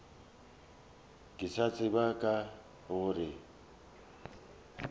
ke sa tsebe ka gore